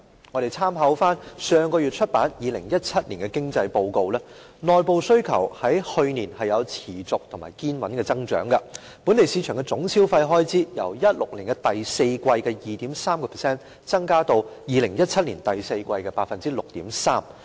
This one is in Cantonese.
我們參考上月出版的2017年經濟報告，內部需求去年有持續和堅穩的增長，本地市場的總消費開支由2016年第四季的 2.3% 增加至2017年第四季的 6.3%。